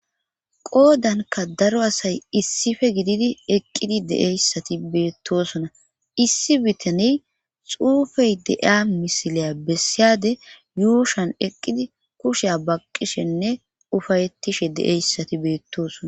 Qoodanka daro asay issife gididi eqqidi deeyssati beettosona issi bitane xuufey deeya misiliya bessiyade yuushan eqqidi kusheya baqqishenne ufayettishe deeyssati beettosona.